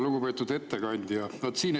Lugupeetud ettekandja!